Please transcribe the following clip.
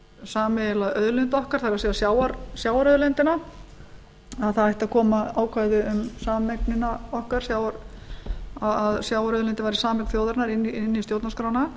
sameiginlega auðlind okkar það er sjávarauðlindina að það ætti að koma ákvæði um sameignina okkar að sjávarauðlindin væri sameign þjóðarinnar inn í stjórnarskrána